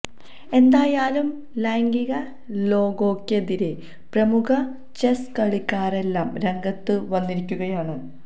എന്തായാലും ലൈംഗിക ലോഗോയ്ക്കെതിരേ പ്രമുഖ ചെസ് കളിക്കാരെല്ലാം രംഗത്ത് വന്നിരിക്കുകയാണ്